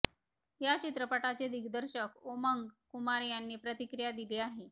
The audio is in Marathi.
यावर चित्रपटाचे दिग्दर्शक ओमंग कुमार यांनी प्रतिक्रिया दिली आहे